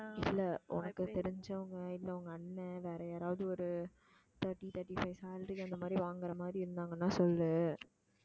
இல்லை உனக்கு தெரிஞ்சவங்க இல்லை உங்க அண்ணன் வேற யாராவது ஒரு thirty thirty-five salary அந்த மாதிரி வாங்குற மாதிரி இருந்தாங்கன்னா சொல்லு